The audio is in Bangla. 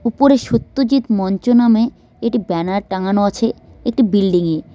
উপরে সত্যজিৎ মঞ্চ নামে একটি ব্যানার টাঙানো আছে একটি বিল্ডিংয়ে।